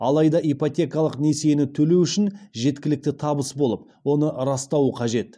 алайда ипотекалық несиені төлеуі үшін жеткілікті табыс болып оны растауы қажет